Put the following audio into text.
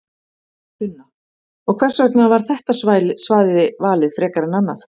Sunna: Og hvers vegna var þetta svæði valið frekar en annað?